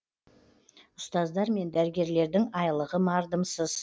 ұстаздар мен дәрігерлердің айлығы мардымсыз